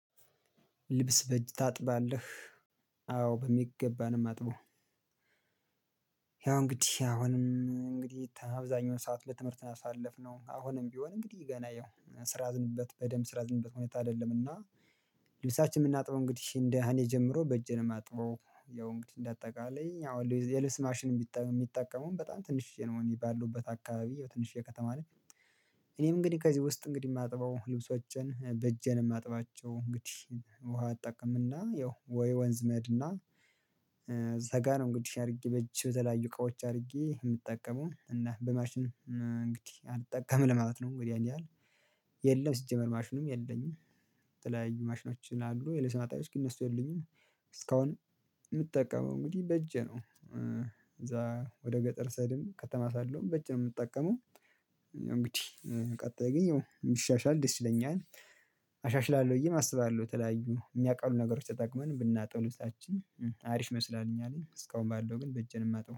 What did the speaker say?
ልብስ በእጅ ታጥባለህ አዎ በሚገባ ነው ማጥበው ያው እንግዲህ አሁንም እንግዲህ አብዛኛውን ሰዓት ለትምህርት አሳለፍነው አሁንም ቢሆን እንግዲህ ገና ያው ስራ የያዝንበት በደንብ ስራ የያዝንበት ሁኔታ አይደለምና ልብሳችን የምናጥበው እንግዲህ እንደ እኔ ጀምሮ በእጄ ነው የማጥበው ያው እንግዲህ እንደ አጠቃላይ ያው የልብስ ማሽን የሚጠቀመው በጣም ትንሽ ያው ባለውበት አካባቢ ያው ትንሽዬ ከተማ ነች። እኔም እንግዲህ ከዚህ ውስጥ እንግዲህ የማጥበው ልብሶቼን በእጄ ነው የማጥባቸው እንግዲህ ውሃ እጠቀምና ያው ወይ ወንዝ መሄድና እዛጋ ነው እንግዲህ አድርጌ በእጄ የተለያዩ እቃዎች አድርጌ የምጠቀመው እና በማሽን እንግዲህ አልጠቀምም ለማለት ነው እንግዲህ ያን ያህል የለም ሲጀመር ማሽኑም የለኝም የተለያዩ ማሽኖች አሉ የልብስ ማጠብያዎች ግን እነሱ የሉኝም እስካሁን የምጠቀመው እንግዲህ በእጄ ነው እዛ ወደ ገጠር ስሄድም ከተማ ሳለውም በእጄ ነው የምጠቀመው እንግዲህ ቀጣይ ላይ ቢሻሻል ደስ ይለኛል አሻሽላለሁ ብዬም አስባለሁ የተለያዩ የሚያቀሉ ነገሮች ተጠቅመን ብናጥብ ልብሳችንን አሪፍ ይመስላል እኛ ላይ እስካሁን ባለው ግን በእጄን የማጣው